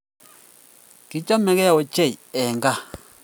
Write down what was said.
Kichamegei ochei eng kaa